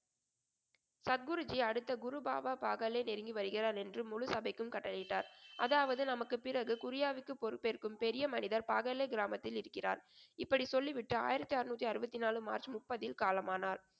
சத்குருஜி அடுத்த குரு பாபா பாகாலே நெருங்கி வருகிறார் என்று முழு சபைக்கும் கட்டளையிட்டார். அதாவது நமக்குப் பிறகு குரியாவுக்கு பொறுப்பேற்கும் பெரிய மனிதர் பாகாலே கிராமத்தில் இருக்கிறார். இப்படி சொல்லிவிட்டு ஆயிரத்தி அருநூத்தி அறுபத்தி நாலு மார்ச் முப்பதில் காலமானார்.